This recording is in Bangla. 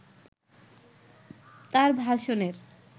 তার ভাষণের